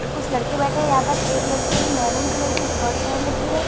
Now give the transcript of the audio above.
और कुछ लड़के बैठे हैं यहां पर एक लड़के महरूँ कलर की शर्ट पहन रखी है।